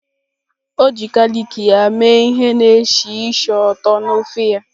O ji galik ya mee ihe na-esi ísì ụtọ na ofe ya.